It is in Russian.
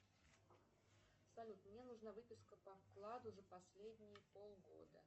салют мне нужна выписка по вкладу за последние полгода